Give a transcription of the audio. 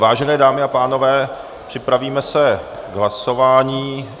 Vážené dámy a pánové, připravíme se k hlasování.